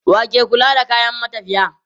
Wa ke kula da kayan matafiya?